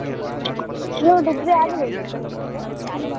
ಹ್ಮ್ ನೀವು degree ಆಗಿ ಹೊದ್ದಾ ಕೆಲ್ಸಕ್ಕೆ?